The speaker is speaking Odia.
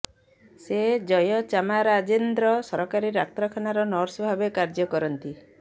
ସେ ଜୟଚାମାରାଜେନ୍ଦ୍ର ସରକାରୀ ଡାକ୍ତରଖାନାର ନର୍ସ ଭାବେ କାର୍ଯ୍ୟ କରନ୍ତି